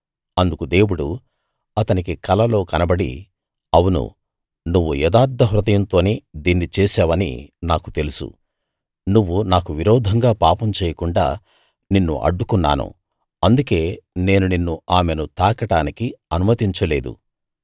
అందుకు దేవుడు అతనికి కలలో కనబడి అవును నువ్వు యథార్థ హృదయంతోనే దీన్ని చేశావని నాకు తెలుసు నువ్వు నాకు విరోధంగా పాపం చేయకుండా నిన్ను అడ్డుకున్నాను అందుకే నేను నిన్ను ఆమెను తాకడానికి అనుమతించ లేదు